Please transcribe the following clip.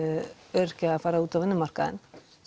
öryrkja að fara út á vinnumarkaðinn